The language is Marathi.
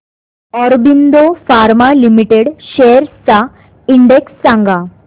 ऑरबिंदो फार्मा लिमिटेड शेअर्स चा इंडेक्स सांगा